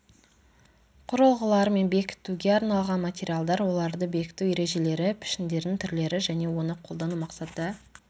құрылғылар мен бекітуге арналған материалдар оларды бекіту ережелері пішіндердің түрлері және оны қолдану мақсаты